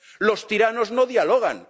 Los tiranos no dialogan.